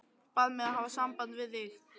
Bað mig að hafa samband við þig.